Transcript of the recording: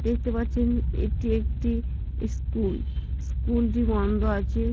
দেখতে পাচ্ছেন এটি একটি স্কুল স্কুলটি বন্ধ আছে।